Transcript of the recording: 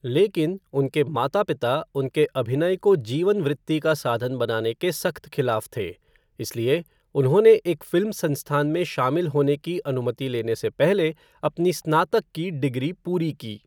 लेकिन, उनके माता पिता उनके अभिनय को जीवन वृत्ति का साधन बनाने के सख्त खिलाफ थे इसलिए, उन्होंने एक फ़िल्म संस्थान में शामिल होने की अनुमति लेने से पहले अपनी स्नातक की डिग्री पूरी की।